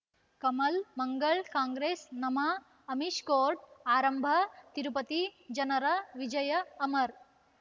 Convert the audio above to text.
ಕಮಲ್ ಮಂಗಳ್ ಕಾಂಗ್ರೆಸ್ ನಮಃ ಅಮಿಷ್ ಕೋರ್ಟ್ ಆರಂಭ ತಿರುಪತಿ ಜನರ ವಿಜಯ ಅಮರ್